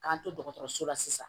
K'an to dɔgɔtɔrɔso la sisan